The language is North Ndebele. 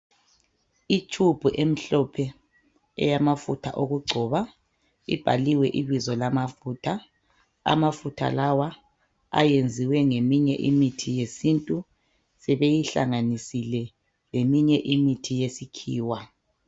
Tube emhlophe eyamafutha okugcoba. Ibhaliwe ibizo lamafutha. Amafutha, lawa ayenziwe., ngeminye imithi yesintu. Sebeyihlanganisile. leminye imithi yesikhiwa.